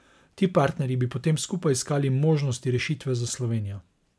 Ti partnerji bi potem skupaj iskali možnosti rešitve za Slovenijo.